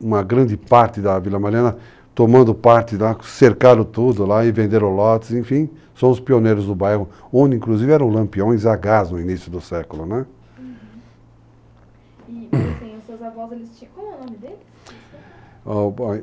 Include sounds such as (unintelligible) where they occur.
uma grande parte da Vila Mariana, tomando parte, cercaram tudo lá e venderam lotes, enfim, são os pioneiros do bairro, onde inclusive eram lampiões a gás no início do século, né? uhum, (coughs) E os seus avôs, eles tinham, como era o nome deles? (unintelligible)